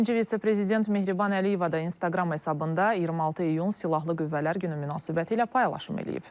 Birinci vitse-prezident Mehriban Əliyeva da İnstagram hesabında 26 iyun Silahlı Qüvvələr Günü münasibətilə paylaşım eləyib.